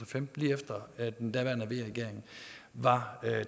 femten lige efter at den daværende v regering var